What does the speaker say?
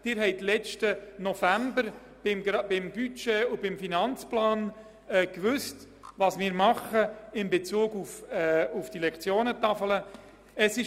Sie haben im vergangenen November bei der Beratung des Budgets und des Finanzplans gewusst, was wir in Bezug auf die Lektionentafel zu tun gedenken.